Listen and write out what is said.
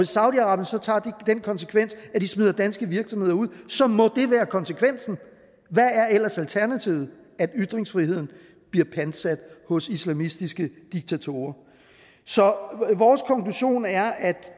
saudi arabien så tager den konsekvens at de smider danske virksomheder ud så må det være konsekvensen hvad er ellers alternativet at ytringsfriheden bliver pantsat hos islamistiske diktatorer så vores konklusion er at